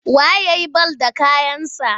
Wa ye ya yi bal da kayansa?